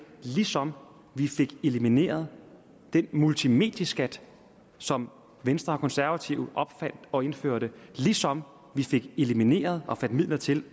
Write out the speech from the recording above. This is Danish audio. ligesom vi fik elimineret den multimedieskat som venstre og konservative opfandt og indførte ligesom vi fik elimineret og fandt midler til